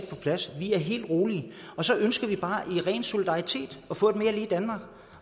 på plads og vi er helt rolige så ønsker vi bare i ren solidaritet at få et mere lige danmark